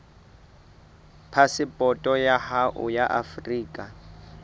phasepoto ya hao ya afrika